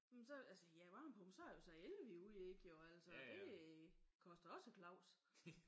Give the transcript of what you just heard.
Men så ja varmepumpe så er det så el man er ude i ik jo? Altså det koster også Claus